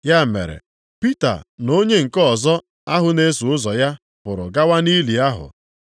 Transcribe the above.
Ya mere Pita na onye nke ọzọ ahụ na-eso ụzọ ya pụrụ gawa nʼili ahụ.